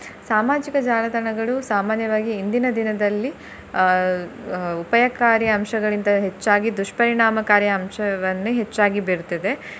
ಸಾಮಾಜಿಕ ಜಾಲತಾಣಗಳು ಸಾಮಾನ್ಯವಾಗಿ ಇಂದಿನ ದಿನದಲ್ಲಿ ಅಹ್ ಅಹ್ ಉಪಾಯಕಾರಿ ಅಂಶಗಳಿಗಿಂತ ಹೆಚ್ಚಾಗಿ ದುಷ್ಪರಿನಣಾಮಕಾರಿ ಅಂಶವನ್ನು ಹೆಚ್ಚಾಗಿ ಬೀರ್ತ್ತಿದೆ.